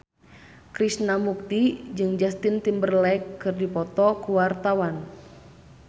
Krishna Mukti jeung Justin Timberlake keur dipoto ku wartawan